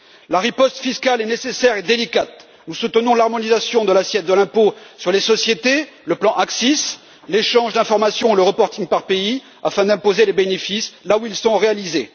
La riposte fiscale est nécessaire et délicate, nous soutenons l'harmonisation de l'assiette de l'impôt sur les sociétés, le plan ACCIS, l'échange d'informations, la publication d'informations par pays, afin d'imposer les bénéfices là où ils sont réalisés.